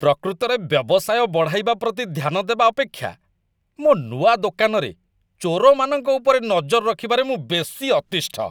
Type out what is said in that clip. ପ୍ରକୃତରେ ବ୍ୟବସାୟ ବଢ଼ାଇବା ପ୍ରତି ଧ୍ୟାନ ଦେବା ଅପେକ୍ଷା, ମୋ ନୂଆ ଦୋକାନରେ, ଚୋରମାନଙ୍କ ଉପରେ ନଜର ରଖିବାରେ ମୁଁ ବେଶୀ ଅତିଷ୍ଠ ।